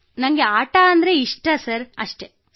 sir ನನಗೆ ಆಟದಲ್ಲಿ ಒಲವಿದೆ ಅದಕ್ಕೆ ಆಡುತ್ತೇನೆ ಅಷ್ಟೇ